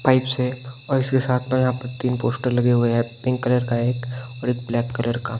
pipe से और इसके साथ में यहां पर तीन पोस्टर लगे हुए हैं पिंक कलर का एक और एक ब्लैक कलर का --